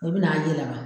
I bi n'a yɛlɛma